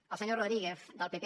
al senyor rodríguez del pp